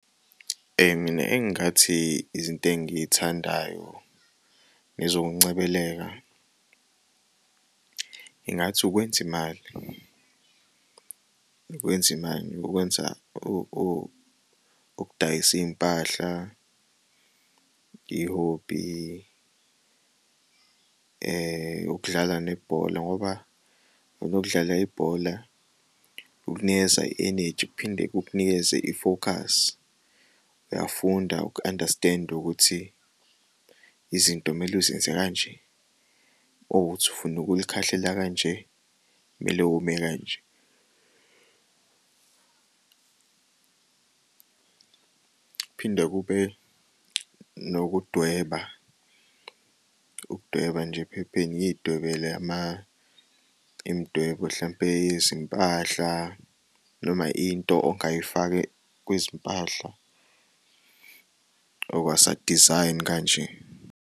Mina engathi izinto engiyithandayo ngezokungcebeleka, ngingathi ukwenz'imali, ukwenz'imali. Ukwenza ukudayisa iy'mpahla i-hobby ukudlala nebhola ngoba nokudlala ibhola kukunikeza i-enegy kuphinde kukunikeze i-focus uyafunda uku-understand ukuthi izinto kumele uzenze kanje makuwukuthi ufuna ukulikhahlela kanje kumele ume kanje. Kuphinde kube nokudweba, ukudweba nje ephepheni ngiy'dwebele imidwebo hlampe yezimpahla noma into ongayifaka kwizimpahla, okusa-design kanje.